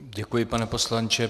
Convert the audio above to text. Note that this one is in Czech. Děkuji, pane poslanče.